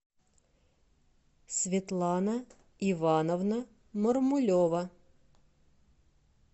светлана ивановна мармулева